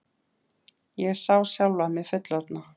Ég sá sjálfa mig fullorðna.